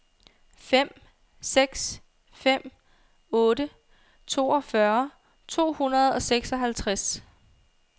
fem seks fem otte toogfyrre to hundrede og seksoghalvtreds